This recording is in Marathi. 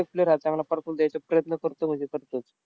खूप player राहतात. प्रयत्न करतो म्हणजे करतोच.